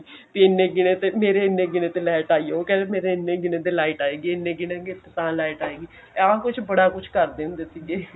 ਮੇਰੇ ਇੰਨੇ ਗਿਨੇ ਤੇ light ਆਈ ਐ ਉਹ ਕਹਿੰਦਾ ਮੇਰੇ ਇੰਨੇ ਗਿਨੇ ਤੇ light ਆਏਗੀ ਇਹਨੇ ਗਿਨੇਗੇ ਤਾਂ light ਆਏਗੀ ਆਹ ਕੁੱਛ ਬੜਾ ਕੁੱਛ ਕਰਦੇ ਹੁੰਦੇ ਸੀਗੇ